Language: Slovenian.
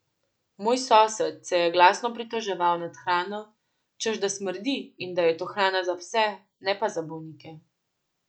Moj sosed se je glasno pritoževal nad hrano, češ da smrdi in da je to hrana za pse, ne pa za bolnike.